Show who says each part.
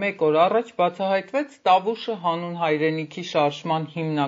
Speaker 1: Մեկ օր առաջ «Տավուշը հանուն հայրենիքի» շարժումն